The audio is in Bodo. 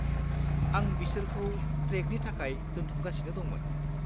आं बिसोरखौ ट्रेकनि थाखाय दोनथुमगासिनो दंमोन।